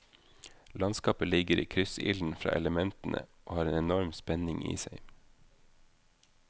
Landskapet ligger i kryssilden fra elementene og har en enorm spenning i seg.